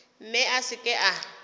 mme a se ke a